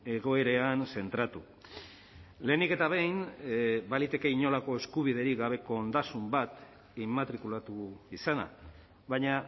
egoeran zentratu lehenik eta behin baliteke inolako eskubiderik gabeko ondasun bat immatrikulatu izana baina